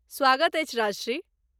स्वागत अछि ,राजश्री।